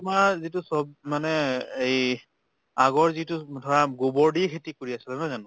তোমাৰ যিটো চব মানে এই আগৰ যিটো ধৰা গোবৰ দি খেতি কৰি আছেলে নহয় জানো?